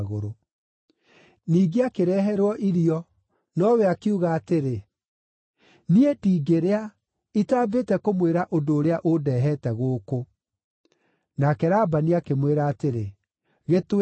Ningĩ akĩreherwo irio, nowe akiuga atĩrĩ, “Niĩ ndingĩrĩa, itambĩte kũmwĩra ũndũ ũrĩa ũndehete gũkũ.” Nake Labani akĩmwĩra atĩrĩ, “Gĩtwĩre.”